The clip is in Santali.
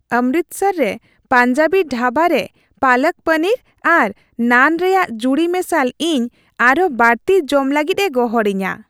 ᱚᱢᱨᱤᱛᱥᱚᱨ ᱨᱮ ᱯᱟᱧᱡᱟᱵᱤ ᱰᱷᱟᱵᱟ ᱨᱮ ᱯᱟᱞᱚᱠ ᱯᱚᱱᱤᱨ ᱟᱨ ᱱᱟᱱ ᱨᱮᱭᱟᱜ ᱡᱩᱲᱤᱼᱢᱮᱥᱟᱞ ᱤᱧ ᱟᱨᱦᱚᱸ ᱵᱟᱹᱲᱛᱤ ᱡᱚᱢ ᱞᱟᱹᱜᱤᱫᱼᱮ ᱜᱚᱦᱚᱲᱤᱧᱟᱹ ᱾